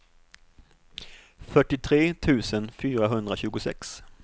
fyrtiotre tusen fyrahundratjugosex